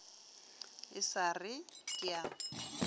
e sa re ke a